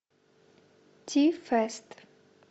ти фест